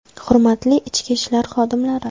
Hurmatli ichki ishlar xodimlari!